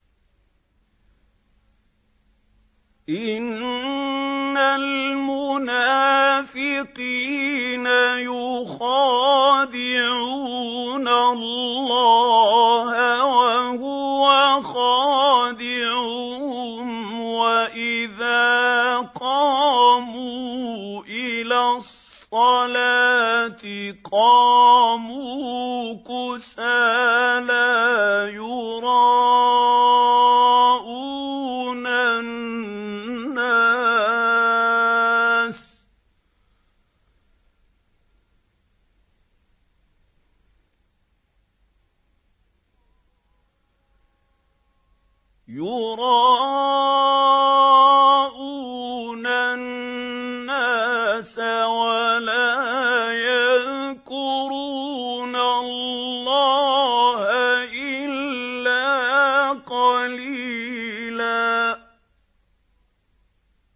إِنَّ الْمُنَافِقِينَ يُخَادِعُونَ اللَّهَ وَهُوَ خَادِعُهُمْ وَإِذَا قَامُوا إِلَى الصَّلَاةِ قَامُوا كُسَالَىٰ يُرَاءُونَ النَّاسَ وَلَا يَذْكُرُونَ اللَّهَ إِلَّا قَلِيلًا